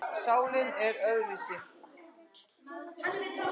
Sálin er allt öðruvísi.